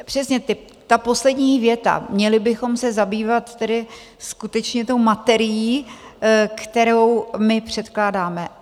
Přesně ta poslední věta: Měli bychom se zabývat tedy skutečně tou materií, kterou my předkládáme.